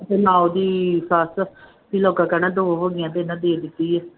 ਤੇ ਨਾ ਉਹਦੀ ਸੱਸ ਵੀ ਲੋਕਾਂ ਕਹਿਣਾ ਦੋ ਹੋ ਗਈਆਂ ਤੇੇ